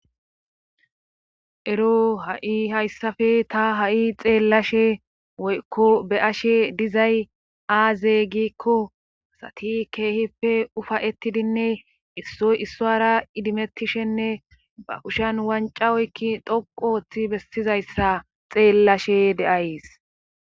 eroo ha7i ta hayssafe xeellashe woykko be7ashe dizay aaze gikkko asati keehippe ufayettidinne issoy issuwaara idimettishenne ba kushiyan wancca oykki dhoqqu oottin bessizayssa xeellashe de7ays.